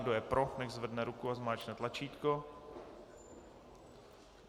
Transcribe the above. Kdo je pro, nechť zvedne ruku a zmáčkne tlačítko.